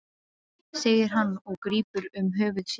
segir hann og grípur um höfuð sér.